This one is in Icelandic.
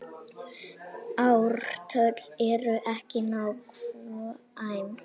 Ártöl eru ekki nákvæm.